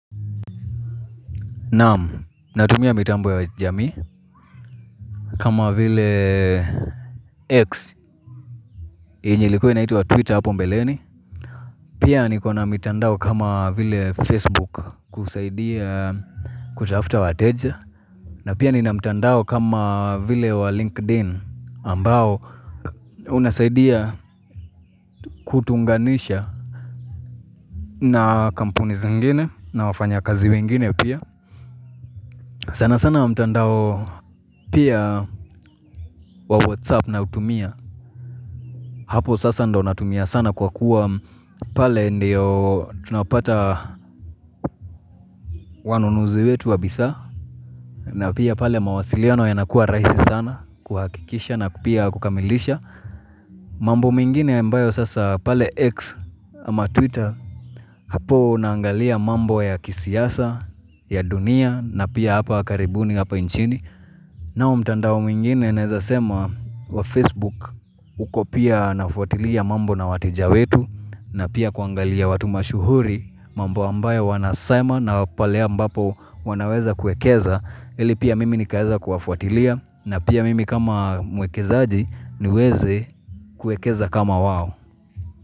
Naam, natumia mitambo ya jamii kama vile X, yenye ilikua inaitwa twitter hapo mbeleni Pia niko na mitandao kama vile facebook kusaidia kutafuta wa teja na pia nina mitandao kama vile wa linkedIn ambao unasaidia kutunganisha na kampuni zingine na wafanyikazi wengine pia sana sana wa mitandao Pia wa whatsapp nautumia hapo sasa ndo natumia sana kwa kuwa pale ndiyo tunapata wanunuzi wetu wabidhaa na pia pale mawasiliano yanakua raisi sana kuhakikisha na kupia kukamilisha mambo mingine ya ambayo sasa pale X. Ama twitter hapo naangalia mambo ya kisiasa, ya dunia na pia hapa karibuni hapa nchini nao mtandao mwingine naeza sema wa facebook uko pia nafuatilia mambo na wateja wetu na pia kuangalia watu mashuhuri mamba ambayo wanasema na pale ambapo wanaweza kuekeza ili pia mimi nikaeza kuafuatilia na pia mimi kama mwekezaaji niweze kuekeza kama wao.